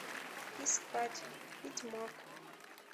искать ведьмак